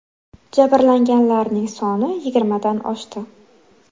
Jabrlanganlarning soni yigirmadan oshdi.